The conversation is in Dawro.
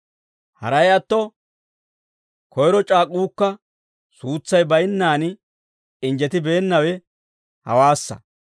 Haray atto, koyro c'aak'uukka suutsay baynnaan injjetibeennawe hawaassa.